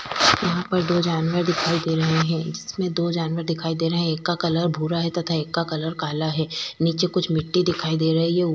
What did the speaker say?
यहां पर दो जानवर दिखाई दे रहे हैं जिसमें दो जानवर दिखाई दे रहे हैं एक का कलर भूरा है तथा एक का कलर काला है नीचे कुछ मिट्टी दिखाई दे रही हूं।